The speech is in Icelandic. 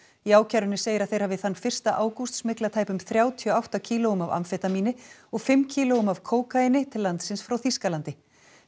í ákærunni segir að þeir hafi þann fyrsta ágúst smyglað tæpum þrjátíu og átta kílóum af amfetamíni og fimm kílóum af kókaíni til landsins frá Þýskalandi